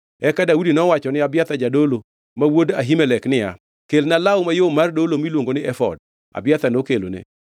Eka Daudi nowachone Abiathar jadolo, ma wuod Ahimelek niya, “Kelna law mayom mar dolo miluongo ni efod.” Abiathar nokelone,